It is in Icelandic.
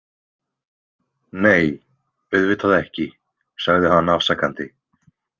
Nei, auðvitað ekki, sagði hann afsakandi.